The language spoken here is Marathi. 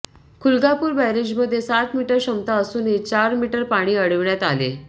खुलगापूर बॅरेजमध्ये सात मीटर क्षमता असूनही चार मीटर पाणी अडविण्यात आले